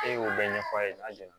E y'o bɛɛ ɲɛfɔ a ye a ɲɛna